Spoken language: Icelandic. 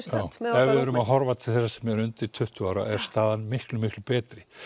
erum að horfa til þeirra sem er undir tuttugu ára er staðan miklu miklu betri